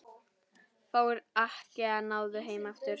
Fáir Akkea náðu heim aftur.